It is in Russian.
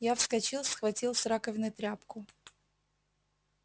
я вскочил схватил с раковины тряпку